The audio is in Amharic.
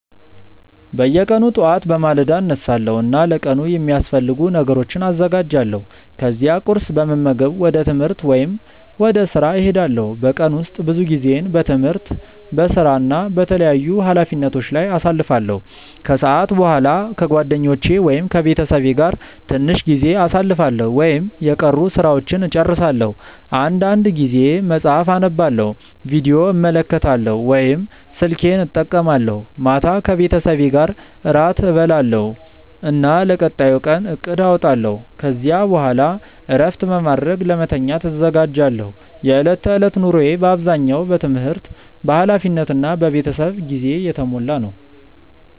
በየቀኑ ጠዋት በማለዳ እነሳለሁ እና ለቀኑ የሚያስፈልጉ ነገሮችን አዘጋጃለሁ። ከዚያ ቁርስ በመመገብ ወደ ትምህርት ወይም ወደ ሥራ እሄዳለሁ። በቀን ውስጥ ብዙ ጊዜዬን በትምህርት፣ በሥራ እና በተለያዩ ኃላፊነቶች ላይ አሳልፋለሁ። ከሰዓት በኋላ ከጓደኞቼ ወይም ከቤተሰቤ ጋር ትንሽ ጊዜ አሳልፋለሁ ወይም የቀሩ ሥራዎችን እጨርሳለሁ። አንዳንድ ጊዜ መጽሐፍ አነባለሁ፣ ቪዲዮ እመለከታለሁ ወይም ስልኬን እጠቀማለሁ። ማታ ከቤተሰቤ ጋር እራት እበላለሁ እና ለቀጣዩ ቀን እቅድ አወጣለሁ። ከዚያ በኋላ እረፍት በማድረግ ለመተኛት እዘጋጃለሁ። የዕለት ተዕለት ኑሮዬ በአብዛኛው በትምህርት፣ በኃላፊነት እና በቤተሰብ ጊዜ የተሞላ ነው።